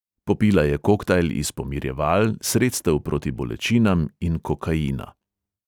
Popila je koktajl iz pomirjeval, sredstev proti bolečinam in kokaina.